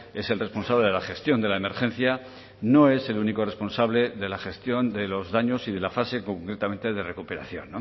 es el responsable de la gestión de la emergencia no es el único responsable de la gestión de los daños y de la fase concretamente de recuperación